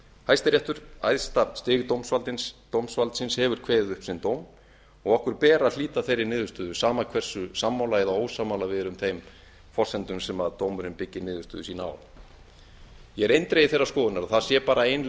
hæstiréttur æðsta stig dómsvaldsins hefur kveðið upp sinn dóm og okkur ber að hlíta þeirri niðurstöðu sama hversu sammála eða ósammála við erum þeim forsendum sem dómurinn byggir niðurstöðu sína á ég er eindregið þeirrar skoðunar að það sé bara ein